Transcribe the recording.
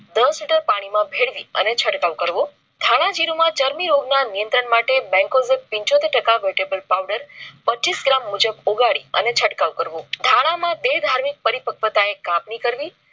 દસ લિટર પાણી માં ભેળવીને છંટકાવ કરવો ધાણા જીરુંમાં ચાર્મી રોગ ના નિયંત્રણ માટે bencozin પિચોતેર ટાકા vetebal powder પચીસ gram મુજબ ઉગાડી અને ચટકાવ કરવો ધાણા માં બે ધાર્મિક પરી પક્વતાએ કાપણી કરવી